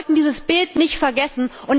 Wir sollten dieses Bild nicht vergessen.